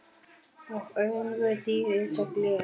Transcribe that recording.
Og augu þín einsog gler.